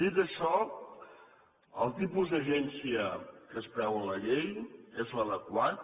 dit això el tipus d’agència que es preveu a la llei és l’adequat